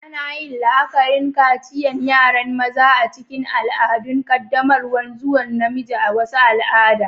Ana yin la'akarin kaciyan yaran maza a'cikin ibadu'n qaddamarwan zuwa namiji a'wasu al'ada.